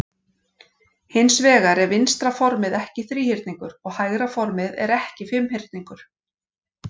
Hins vegar er vinstra formið ekki þríhyrningur og hægra formið er ekki fimmhyrningur.